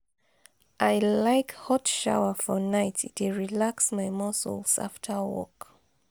i like hot shower for night e dey relax my muscles afta work.